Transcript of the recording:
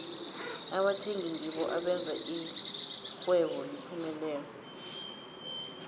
abathengi ngibo abenza ixhwebo liphumelele